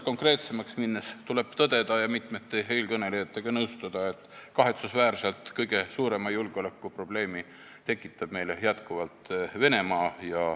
Konkreetsemaks minnes tuleb tõdeda ja mitmete eelkõnelejatega nõustuda, et kahetsusväärselt kõige suuremat julgeolekuprobleemi tekitab meile jätkuvalt Venemaa.